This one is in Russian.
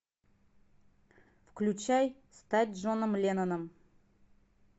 включай стать джоном ленноном